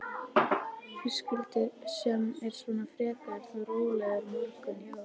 Höskuldur: Sem er svona frekar þá rólegur morgunn hjá ykkur?